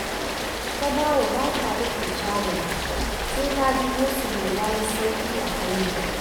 Tabawa ba ta rufe shagonta sai ta ji gosulo ya yi sauƙi a hanya